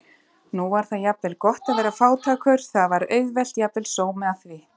Nú var það jafnvel gott að vera fátækur, það var auðvelt, jafnvel sómi að því.